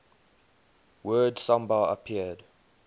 word samba appeared